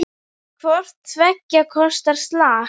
Hvort tveggja kostar slag.